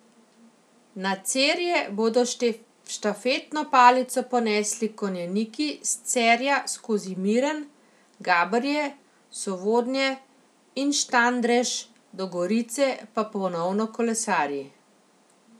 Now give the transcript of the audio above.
Na Cerje bodo štafetno palico ponesli konjeniki, s Cerja skozi Miren, Gabrje, Sovodnje in Štandrež do Gorice pa ponovno kolesarji.